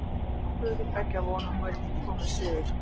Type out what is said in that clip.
Það getur brugðið til beggja vona og hún vill að þú komir suður.